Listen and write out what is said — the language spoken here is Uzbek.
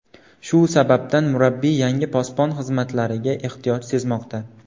Shu sababdan, murabbiy yangi posbon xizmatlariga ehtiyoj sezmoqda.